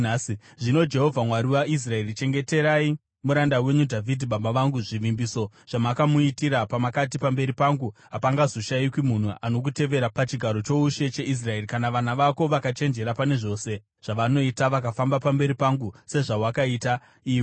“Zvino Jehovha, Mwari waIsraeri, chengeterai muranda wenyu Dhavhidhi baba vangu, zvivimbiso zvamakamuitira pamakati, ‘Pamberi pangu hapangazoshayikwi munhu anokutevera pachigaro choushe cheIsraeri, kana vana vako vakachenjera pane zvose zvavanoita, vakafamba pamberi pangu sezvawakaita iwe.’